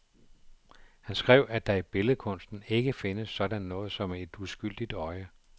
Han skrev, at der i billedkunsten ikke findes sådan noget som et uskyldigt øje.